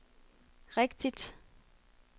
rigtigt